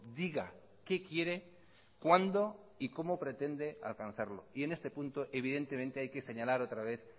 diga qué quiere cuándo y cómo pretende alcanzarlo y en este punto evidentemente hay que señalar otra vez